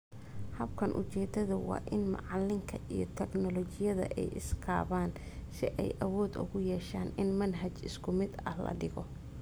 Habkan, ujeedadu waa in macalinka iyo teknoolajiyada ay is kabaan si ay awood ugu yeeshaan in manhaj isku mid ah la dhigo.